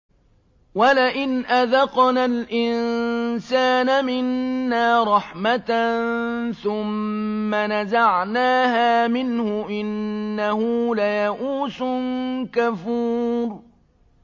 وَلَئِنْ أَذَقْنَا الْإِنسَانَ مِنَّا رَحْمَةً ثُمَّ نَزَعْنَاهَا مِنْهُ إِنَّهُ لَيَئُوسٌ كَفُورٌ